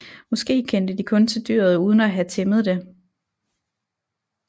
Måske kendte de kun til dyret uden at have tæmmet det